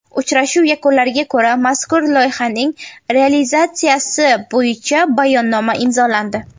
Uchrashuv yakunlariga ko‘ra mazkur loyihaning realizatsiyasi bo‘yicha bayonnoma imzolandi.